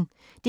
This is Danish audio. DR P1